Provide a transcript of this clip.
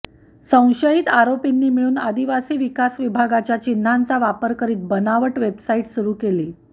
संशयित आरोपींनी मिळून आदीवासी विकास विभागाच्या चिन्ह्यांचा वापर करीत बनावट वेबसाइट सुरू केली